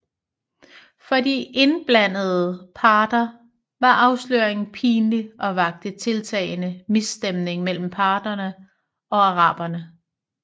For de indblandede parter var afsløringen pinlig og vakte tiltagende misstemning mellem parterne og araberne